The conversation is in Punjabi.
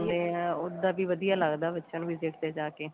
ਏ ਉਦਾ ਵੀ ਵਧੀਆ ਲਗਦਾ ਬੱਚਿਆਂ ਨੂੰ visit ਤੇ ਜਾ ਕੇ